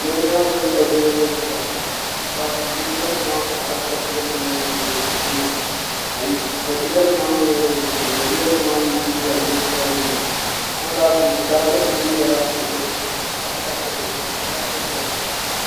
linjima nim mini sabiila nim n zabira linjima nim maa taɣarila sabiila nim maa ni bi di kpɛ ka sabiila nim maa mii yɛli ni bin kpɛ sabiila nim maa mii zooi gari linjima nim maa a kana ti yuli fulaaki nim deela luɣuli kam ka fulaaki bihi n nyɛli fulaaki piɛla